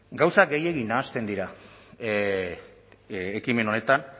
gauza gehiegi nahasten dira ekimen honetan